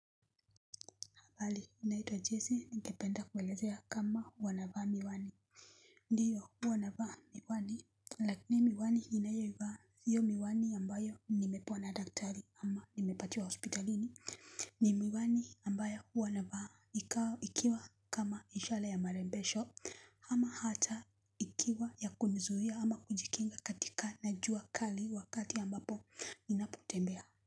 Bali inaito jese nikependa kwelezea kama wanavaa miwani ndiyo wanavaa miwani lakini miwani inayoiwa hiyo miwani ambayo nimepona daktari ama nimepatiwa hospitalini ni miwani ambayo huwa navaa ikiwa kama ishara ya marembesho ama hata ikiwa ya kuni zuia ama kujikinga katika najua kali wakati ambapo ninaputembea.